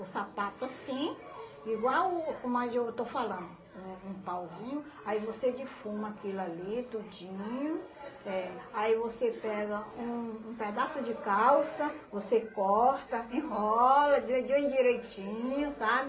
O sapato assim, igual o como ah eu estou falando, um um pauzinho, aí você defuma aquilo ali tudinho, eh aí você pega um um pedaço de calça, você corta, enrola, direitinho, sabe?